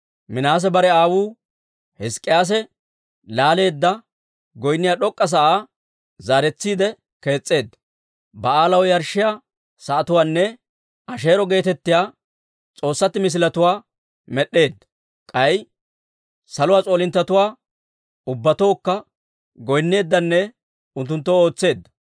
Minaase bare aawuu Hizk'k'iyaase laaleedda, goynniyaa d'ok'k'a sa'aa zaaretsiide kees's'eedda; Ba'aalaw yarshshiyaa sa'atuwaanne Asheero geetettiyaa s'oossatti misiletuwaa med'd'eedda. K'ay saluwaa s'oolinttetuwaa ubbatookka goynneeddanne unttunttoo ootseedda.